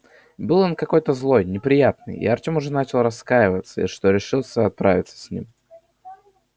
был он какой-то злой неприятный и артем уже начал раскаиваться что решился отправиться с ним